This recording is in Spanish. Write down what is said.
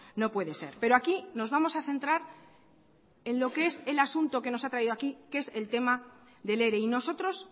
no puede ser pero aquí nos vamos a centrar en lo que es el asunto que nos ha traído aquí que es el tema del ere y nosotros